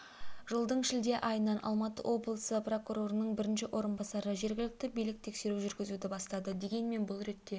жылдың шілде айынан алматы облысы прокурорының бірінші орынбасары жергілікті билік тексеру жүргізуді бастады дегенмен бұл ретте